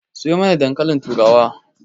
Sayo mana dankalin turawa